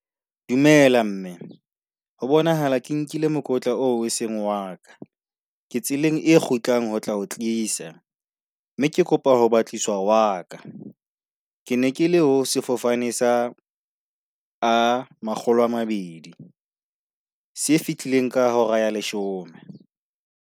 Dumela mme, ho bonahala ke nkile mokotla oo e seng wa ka, ke tseleng e kgutlang ho tla o tlisa. Mme ke kopa ho batliswa wa ka. Ke ne ke le ho sefofane sa A, makgolo a mabedi, se fihlileng ka hora ya leshome.